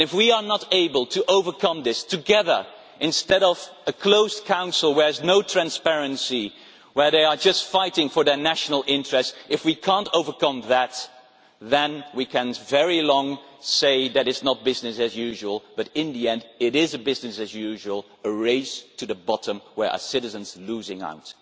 And if we are not able to overcome this together instead of a closed Council where there is no transparency, where they are just fighting for their national interests if we cannot overcome that, then we can carry on saying for a long time that is not business as usual but, in the end, it is business as usual a race to the bottom where our citizens are losing out.